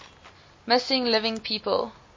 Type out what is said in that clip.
missing living people